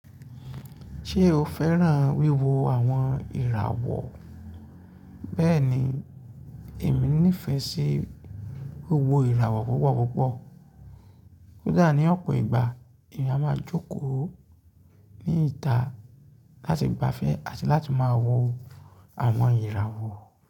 Ṣé o fẹ́ràn wíwo àwọn ìràwọ̀? Bẹ́ẹ̀ni, èmi nífẹ̀ẹ́ sí wíwo ìràwọ̀ púpọ̀púpọ̀. Kódà ní ọ̀pọ̀ ìgbà èmi a máa jókòó ní ìta láti gbafẹ́ àti láti máa wò àwọn ìràwọ̀.